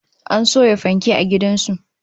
An soya fanke a gidan su